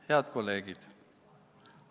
Head kolleegid!